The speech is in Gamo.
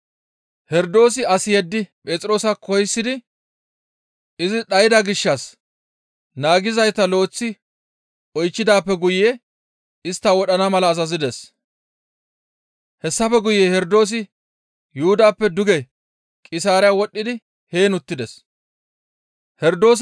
Herdoosi as yeddi Phexroosa koyisidi izi dhayda gishshas naagizayta lo7eththi oychchidaappe guye istta wodhana mala azazides. Hessafe guye Herdoosi Yuhudappe duge Qisaariya wodhdhidi heen uttides.